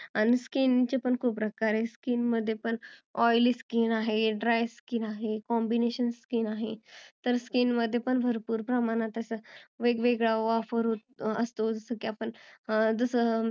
आणि skin पण चे खुप प्रकार आहे skin मध्ये पण oily skin आहे, dry skin आहे, combination skin आहे तर skin मध्ये पण भरपुर प्रमाणात असा वेगवेगळा वापर असतो जस की आपण